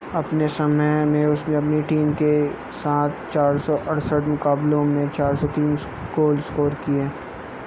अपने समय में उसने अपनी टीम के साथ 468 मुकाबलों में 403 गोल स्कोर किए